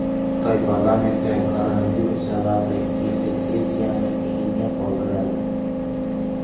Xitoy parlamenti koronavirus sababli yillik sessiyani keyinga qoldiradi.